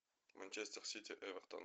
манчестер сити эвертон